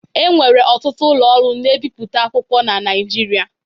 E nwere ọtụtụ ụlọ ọrụ na-ebipụta akwụkwọ na Naịjirịa.